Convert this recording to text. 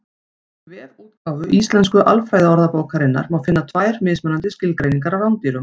Í vefútgáfu Íslensku alfræðiorðabókarinnar má finna tvær mismunandi skilgreiningar á rándýrum.